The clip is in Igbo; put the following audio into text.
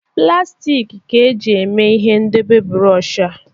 Plastik ka e ji mee ihe ndebe bụrọshị a.